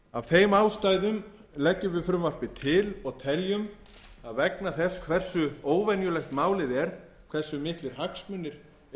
þeim ástæðum leggjum við frumvarpið til og teljum að vegna þess hversu óvenjulegt málið er hversu miklir hagsmunir